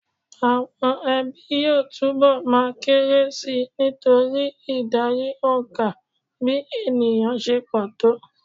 Àwọn ẹbí yóò túnbọ̀ máa kéré si nítorí ìdarí òǹkà bí ènìyàn se pọ̀ tó.